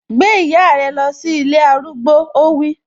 Gbé ìyá rẹ lọ sí ilé arúgbó, ó wí